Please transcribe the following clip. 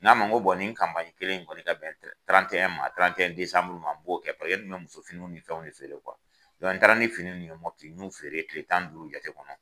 Bɔn nin kanpaɲi kelen in kɔni ka bɛn tiranteyɛn desanburu ma n b'o kɛ fɔlɔ yani an ka muso finiw ni fɛnw de feere kuwa dɔn n taara ni fini ninnu mɔti n y'u feere kile tan ni duuru jate kɔnɔ